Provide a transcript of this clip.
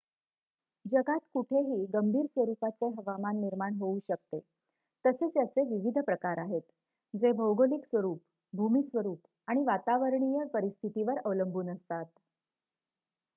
जगात कुठेही गंभीर स्वरूपाचे हवामान निर्माण होऊ शकते तसेच याचे विविध प्रकार आहेत जे भौगोलिक स्वरूप भूमिस्वरूप आणि वातावरणीय परिस्थितीवर अवलंबून असतात